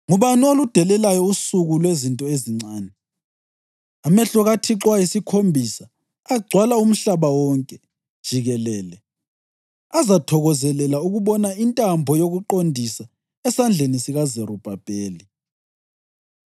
Ngubani oludelelayo usuku lwezinto ezincane? Amehlo kaThixo ayisikhombisa agcwala umhlaba wonke jikelele azathokozelela ukubona intambo yokuqondisa esandleni sikaZerubhabheli?”